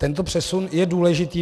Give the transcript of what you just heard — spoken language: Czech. Tento přesun je důležitý.